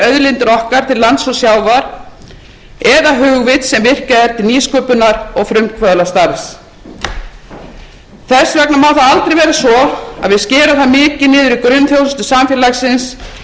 auðlindir okkar til lands og sjávar eða hugvit sem virkjað er til nýsköpunar og frumkvöðlastarfs þess vegna má það aldrei vera svo að við skerum það mikið niður í grunnþjónustu samfélagsins og í þeim atvinnugreinum sem við ætlum okkur að